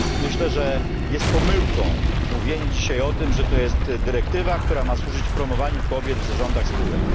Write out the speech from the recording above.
Myślę, że jest pomyłką mówienie dzisiaj o tym, że to jest dyrektywa, która ma służyć promowaniu kobiet w zarządach spółek.